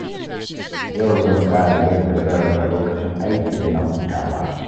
Yau zan tsara yadda zan raba lokacin aiki da na hutawa.